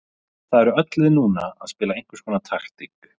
Það eru öll lið núna að spila einhverskonar taktík.